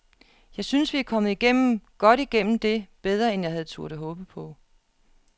Jeg synes, vi er kommet igennem, godt igennem det, bedre end jeg havde turdet håbe på.